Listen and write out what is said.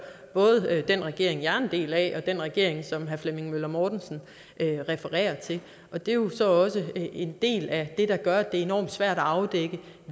både den regering jeg er en del af og den regering som herre flemming møller mortensen refererer til det er jo så også en del af det der gør at det er enormt svært at afdække